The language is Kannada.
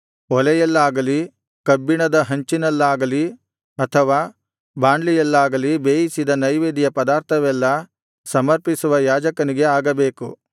ಒಲೆಯಲ್ಲಾಗಲಿ ಕಬ್ಬಿಣದ ಹಂಚಿನಲ್ಲಾಗಲಿ ಅಥವಾ ಬಾಂಡ್ಲಿಯಲ್ಲಾಗಲಿ ಬೇಯಿಸಿದ ನೈವೇದ್ಯಪದಾರ್ಥವೆಲ್ಲಾ ಸಮರ್ಪಿಸುವ ಯಾಜಕನಿಗೆ ಆಗಬೇಕು